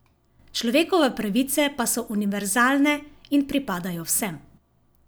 Človekove pravice pa so univerzalne in pripadajo vsem.